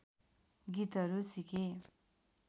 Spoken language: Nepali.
गीतहरू सिके